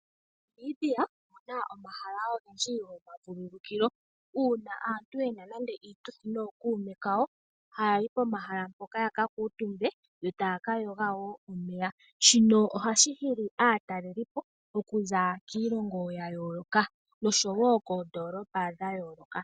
MoNamibia omuna omahala ogendji gomavululukilo . Uuna aantu yena nande iituthi nookuume kawo. Ohaya yi pomahala mpoka ya ka kuutumbe yo taya ka yoga woo momeya. Shino ohashi hili aatalelipo oku za kiilongo ya yooloka nosho woo koondoolopa dha yooloka.